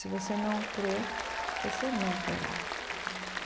Se você não crer, você não terá.